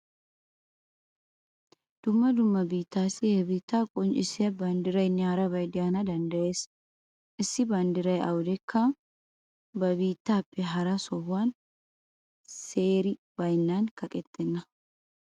Dumma dumma biittaassi he biittaa qonccissiya banddiraynne harabay de'ana danddayees. Issi banddiray awudekka ba biittappe hara sohuwan seeri baynnan kaqettenna.